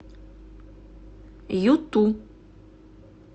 юту